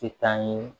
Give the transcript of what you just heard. Tɛ taa ɲɛ